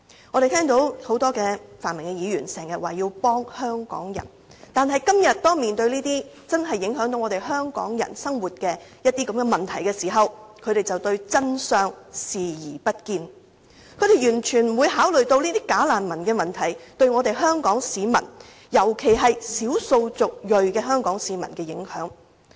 我們聽到很多泛民議員經常也說要幫香港人，但今天當面對這些真正影響香港人生活的問題時，他們卻對真相視而不見，完全不考慮"假難民"問題對香港市民，特別是少數族裔香港市民的影響。